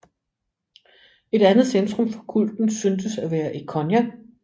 Et andet centrum for kulten syntes at være i Konya